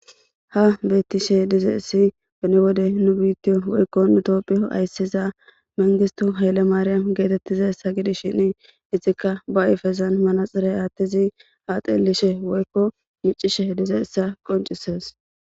ha bettishe dizayessi pene wode nu biitti woykko nutopphiyo ayssiza mengistu haylle maariyam geetettiza ssa gidis shini ixikka ba7ifezan manaxire aattizi aaxelishe woykko micishe dize essa qoncises